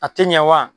A tɛ ɲɛ wa